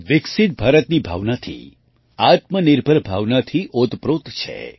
વિકસિત ભારતની ભાવનાથી આત્મનિર્ભર ભાવનાથી ઓતપ્રોત છે